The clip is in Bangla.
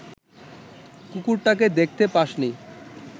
কুকুরটাকে দেখতে পাসনি